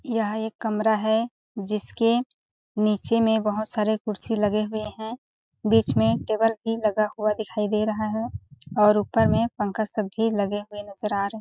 यह एक कमरा है जिसके नीचे में बहुत सारे कुर्सी लगे हुए है बीच में टेबल भी लगा हुआ दिखाई दे रहा है और ऊपर में पंखा सब भी लगे हुए नज़र आ रहे है।